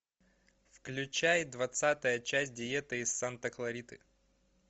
включай двадцатая часть диета из санта клариты